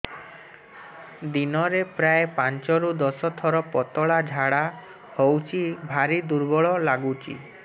ଦିନରେ ପ୍ରାୟ ପାଞ୍ଚରୁ ଦଶ ଥର ପତଳା ଝାଡା ହଉଚି ଭାରି ଦୁର୍ବଳ ଲାଗୁଚି